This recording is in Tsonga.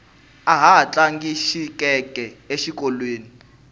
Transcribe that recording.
ahi tlanga xikece exikolweni